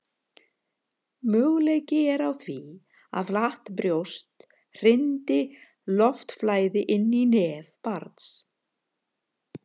möguleiki er á því að flatt brjóst hindri loftflæði inn í nef barns